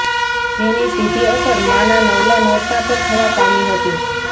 જેની સીધી અસર માના નવલા નોરતા પર થવા પામી હતી